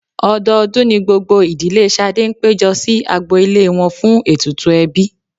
Ọdọọdún ni gbogbo ìdílé Ṣadé ń péjọ sí agbo ilé wọn fún ètùtù ẹbí.